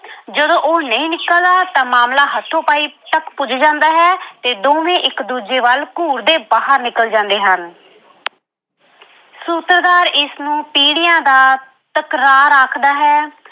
ਜਦੋਂ ਉਹ ਨਹੀਂ ਨਿਕਲਦਾ ਤਾਂ ਮਾਮਲਾ ਹੱਥੋ-ਪਾਈ ਤੱਕ ਪੁੱਜ ਜਾਂਦਾ ਹੈ ਤੇ ਦੋਵੇਂ ਇੱਕ-ਦੂਜੇ ਵੱਲ ਘੂਰਦੇ ਬਾਹਰ ਨਿਕਲ ਜਾਂਦੇ ਹਨ ਸੂਤਰਧਾਰ ਇਸਨੂੰ ਪੀੜ੍ਹੀਆਂ ਦਾ ਤਕਰਾਰ ਆਖਦਾ ਹੈ।